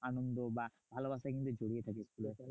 আনন্দ বা ভালোবাসায় কিন্তু জড়িয়ে থাকে school এ।